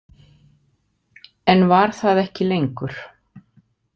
En var það ekki lengur.